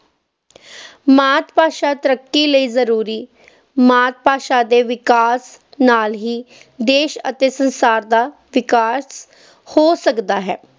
ਮਾਤ-ਭਾਸ਼ਾ ਤਰੱਕੀ ਲਈ ਜ਼ਰੂਰੀ ਮਾਤ-ਭਾਸ਼ਾ ਦੇ ਵਿਕਾਸ ਨਾਲ ਹੀ ਦੇਸ਼ ਅਤੇ ਸੰਸਾਰ ਦਾ ਵਿਕਾਸ ਹੋ ਸਕਦਾ ਹੈ।